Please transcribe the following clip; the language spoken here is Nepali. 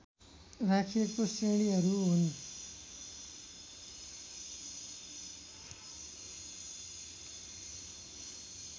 राखिएको श्रेणीहरू हुन्